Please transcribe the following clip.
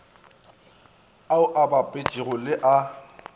ao a bapetpegago le a